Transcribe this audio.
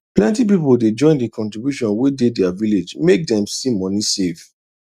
plenty people they join the contribution wey dey their village make dem see money save